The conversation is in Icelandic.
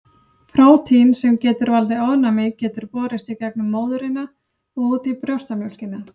Prótín sem getur valdið ofnæmi getur borist í gegnum móðurina og út í brjóstamjólkina.